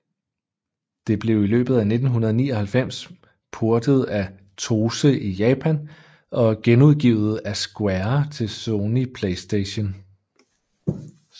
Det blev i løbet af 1999 portet af TOSE og i Japan genudgivet af Square til Sony PlayStation